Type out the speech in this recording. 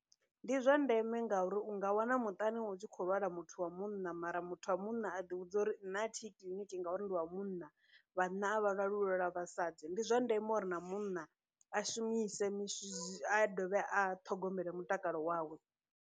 Ndi zwa ndeme ngauri u nga wana muṱani hu tshi khou lwala muthu wa munna mara muthu wa munna a ḓi vhudza uri nṋe a thi yi kiḽiniki ngauri ndi wa munna, vhanna a vha lwali hu lwala vhasadzi, ndi zwa ndeme uri na munna a shumise a dovhe a ṱhogomele mutakalo wawe.